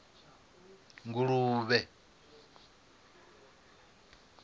nguluvhe